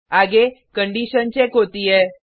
आगे condition check होती है